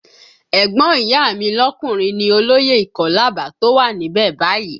Ẹ̀gbọ́n ìyá a mi lọkùnrin ni olóyè ìkọ́làbà tó wà níbẹ̀ báyìí